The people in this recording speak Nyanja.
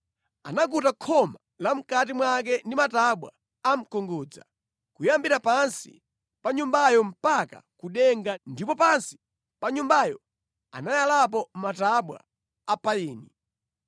Anakuta khoma la mʼkati mwake ndi matabwa a mkungudza, kuyambira pansi pa Nyumbayo mpaka ku denga ndipo pansi pa Nyumbayo anayalapo matabwa a payini.